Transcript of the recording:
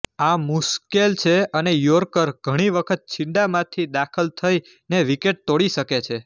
આ મુશ્કેલ છે અને યૉર્કર ઘણી વખત છીંડાંમાંથી દાખલ થઈને વિકેટ તોડી શકે છે